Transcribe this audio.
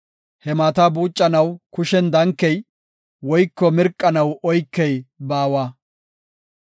He maata buucanaw kushen dankey woyko mirqanaw oykey baawa.